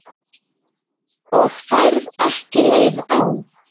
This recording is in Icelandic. Og færð ekki leið á?